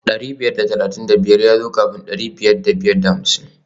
Dari biyar da talatin da biyar ya zo kafin dari biyar da biyar da hamsin